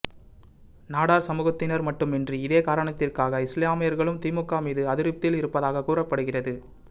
நாடார் சமூகத்தினர் மட்டுமின்றி இதே காரணத்திற்காக இஸ்லாமியர்களும் திமுக மீது அதிருப்தியில் இருப்பதாக கூறப்படுகிறது